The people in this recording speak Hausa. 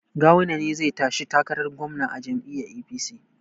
Gawuna ne zai tashi takarar gwamna a jam'iyyar APC